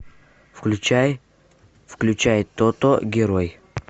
включай включай тото герой